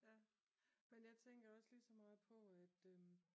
Ja men jeg tænker også ligeså meget på at øhm